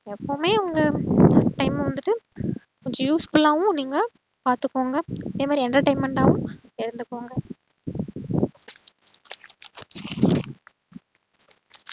எப்போவுமே உங்க life time ம வந்துட்டு usefull ஆவும் நீங்க பாத்துக்கோங்க அதேமாறி entertainment ஆவும் இருந்துக்கோங்க